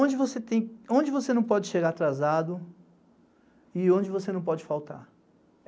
Onde você não pode chegar atrasado e onde você não pode faltar?